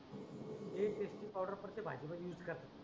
एक एक ची पावडर म्हणजे भाजी मध्ये यूज करते.